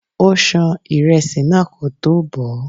Ó ṣan ìrẹsì náà kótó bọ̀ọ́.